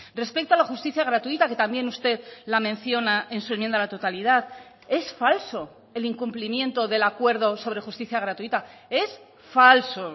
respecto a la justicia gratuita que también usted la menciona en su enmienda a la totalidad es falso el incumplimiento del acuerdo sobre justicia gratuita es falso